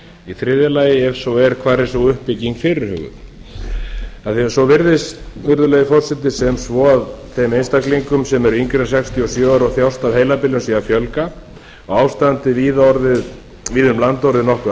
heilabilun þriðja ef svo er hvar er sú uppbygging fyrirhuguð af því að svo virðist virðulegi forseti sem svo að þeim einstaklingum sem eru yngri en sextíu og sjö ára sem þjást af heilabilun sé að fjölga og ástandið víða um land orðið nokkuð